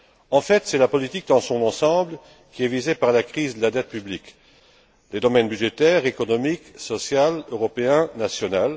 En fait, c'est la politique dans son ensemble qui est visée par la crise de la dette publique les domaines budgétaire, économique, social, européen, national.